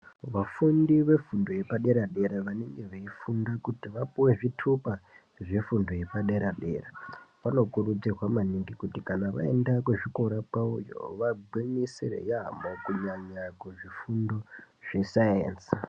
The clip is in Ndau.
Vafundi vefundo yepadera dera vanenge veifunda kuti vapuwe zvitupa zvefundo yepadera dera vanokurudzirwa maningi kuti kana vaenda kuzvikora kwavoyo vagwinyisire yamho kunyanya kuzvifundo zvesayenzi.